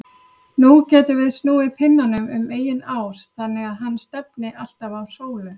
Nú getum við snúið pinnanum um eigin ás þannig að hann stefni alltaf á sólu.